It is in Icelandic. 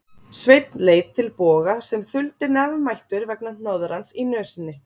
Sveinn leit til Bogga sem þuldi nefmæltur vegna hnoðrans í nösinni